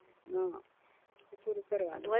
હમ પૂરું કરવાનું